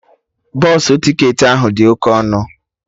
Bọsụ ticketị ahụ dị oke ọnụ